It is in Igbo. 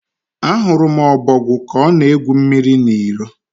Ahụrụ m ọbogwu ka ọ na-egwu mmiri n'iyi.